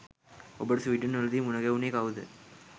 ඔබට ස්වීඩන් වලදි මුණ ගැහුනේ කවුද?